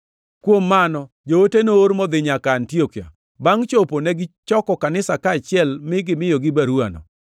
Kuom mano, joote noor modhi nyaka Antiokia. Bangʼ chopo, negichoko kanisa kaachiel mi gimiyogi baruwano.